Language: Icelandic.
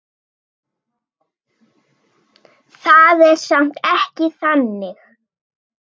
Það er samt ekki þannig.